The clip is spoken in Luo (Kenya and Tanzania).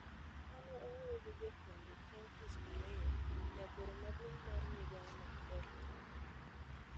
Kane owuoyo gi jofwambo chieng' Tich Ariyo, jagoro maduong ' mar migawono, Dr.